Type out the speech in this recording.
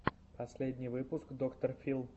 последний выпуск доктор фил